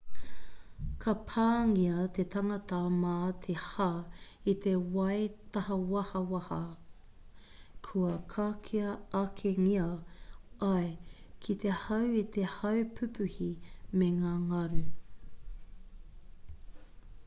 ka pāngia te tangata mā te hā i te wai tāhawahawa kua kakea akengia ai ki te hau e te haupupuhi me ngā ngaru